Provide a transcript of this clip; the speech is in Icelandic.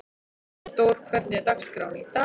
Sigurdór, hvernig er dagskráin í dag?